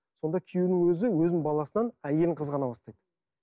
сонда күйеуінің өзі өзінің баласынан әйелін қызғана бастайды